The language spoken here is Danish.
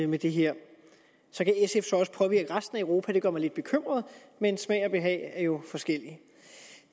med det her så kan sf jo også påvirke resten af europa det gør mig lidt bekymret men smag og behag er jo forskellig